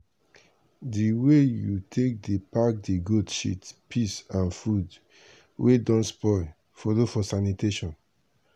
di way you take dey pack the goat shit piss and food wey don spoil follow for sanitation.